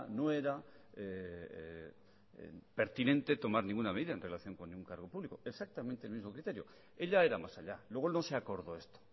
no era pertinente tomar ninguna medida en relación con un cargo público exactamente el mismo criterio ella era más allá luego no se acordó esto